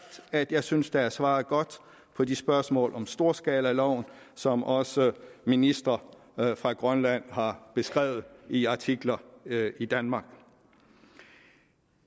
at jeg synes at der er svaret godt på de spørgsmål om storskalaloven som også ministre fra grønland har beskrevet i artikler i danmark